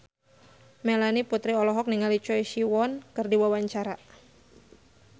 Melanie Putri olohok ningali Choi Siwon keur diwawancara